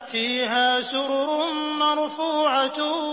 فِيهَا سُرُرٌ مَّرْفُوعَةٌ